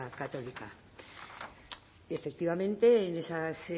católica y efectivamente en esas